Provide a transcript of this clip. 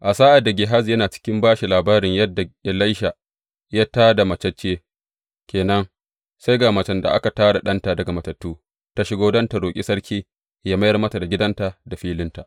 A sa’ad da Gehazi yana cikin ba shi labarin yadda Elisha ya tā da matacce ke nan, sai ga macen da aka tā da ɗanta daga matattu ta shigo don tă roƙi sarki yă mayar mata da gidanta da filinta.